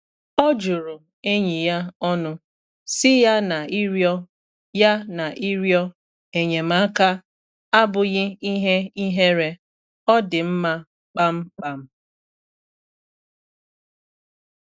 O juru enyi ya ọnụ, sị ya na ịrịọ ya na ịrịọ enyemaka abụghị ihe ihere ọ dị mma kpamkpam.